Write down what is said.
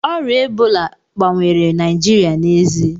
Ọrịa Ebola gbanwere Naịjirịa n'ezie